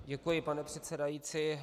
Děkuji, pane předsedající.